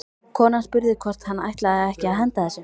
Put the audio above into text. Konan spurði hvort hann ætlaði ekki að henda þessu.